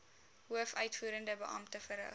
hoofuitvoerende beampte verrig